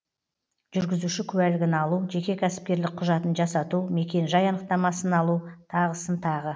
жүргізуші куәлігін алу жеке кәсіпкерлік құжатын жасату мекен жай анықтамасын алу тағысын тағы